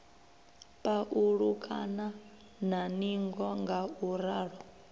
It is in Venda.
pa ulukana na ningo ngauralo